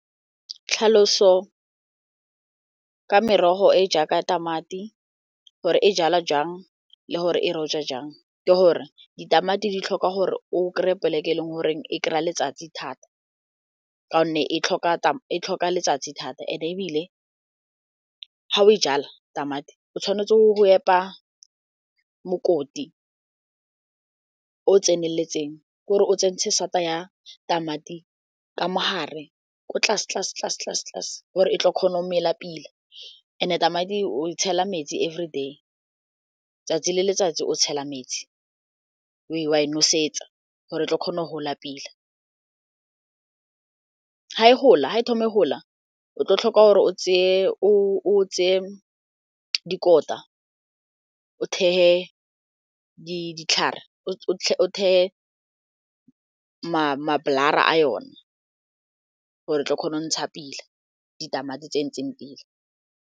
Tlhaloso ka merogo e jaaka tamati, gore e jalwa jang le gore e rojwa jang, ke gore ditamati di tlhoka gore o kry-e plek-e e leng goreng e kry-a letsatsi thata, ka gonne e tlhoka letsatsi thata. And-e ebile ga o e jala tamati, o tshwanetse o go epa mokoti o tseneletseng gore o tsentse sata ya tamati ka mo gare, ko tlase, gore e tla kgona go mela pila. And-e tamati oe tshela metsi everyday, 'tsatsi le letsatsi o tshela metsi , wa e nosetsa gore e tlo kgona go gola pila. Ga e thoma e gola, o tlo tlhoka gore o tseye dikota o thekge ditlhare, o thekge ma-blare a yone gore o tla kgona go ntsha pila ditamati tse ntseng pila.